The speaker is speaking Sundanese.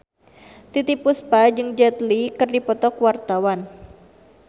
Titiek Puspa jeung Jet Li keur dipoto ku wartawan